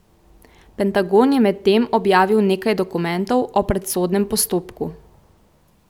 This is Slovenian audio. Pentagon je medtem objavil nekaj dokumentov o predsodnem postopku.